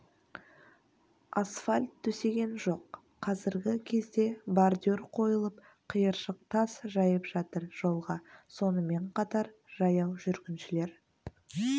асфальт төсеген жоқ қазіргі кезде бордюр қойылып қиыршық тас жайып жатыр жолға сонымен қатар жаяу жүргіншілер